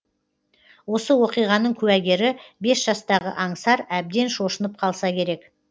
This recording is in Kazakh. осы оқиғаның куәгері бес жастағы аңсар әбден шошынып қалса керек